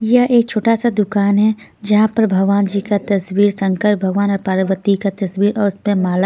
यह एक छोटा सा दुकान है जहां पर भगवान जी का तस्वीर शंकर भगवान और पार्वती का तस्वीर और उस माला.